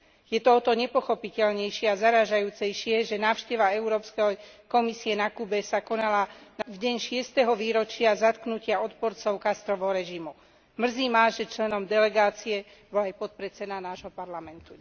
Je to o to nepochopiteľnejšie a zarážajúcejšie, že návšteva Európskej komisie na Kube sa konala v deň šiesteho výročia zatknutia odporcov Castrovho režimu. Mrzí ma, že členom delegácie bol aj podpredseda nášho Parlamentu.